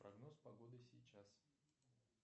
прогноз погоды сейчас